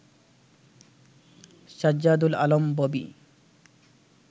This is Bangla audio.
সাজ্জাদুল আলম ববি